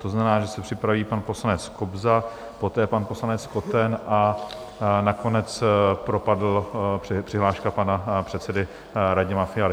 To znamená, že se připraví pan poslanec Kobza, poté pan poslanec Koten a nakonec propadla přihláška pana předsedy Radima Fialy.